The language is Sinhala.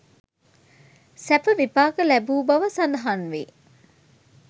සැප විපාක ලැබූ බව සඳහන් වේ.